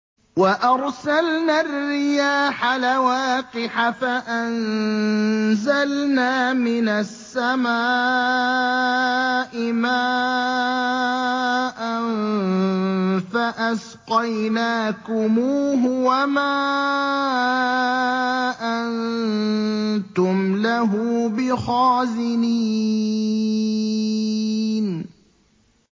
وَأَرْسَلْنَا الرِّيَاحَ لَوَاقِحَ فَأَنزَلْنَا مِنَ السَّمَاءِ مَاءً فَأَسْقَيْنَاكُمُوهُ وَمَا أَنتُمْ لَهُ بِخَازِنِينَ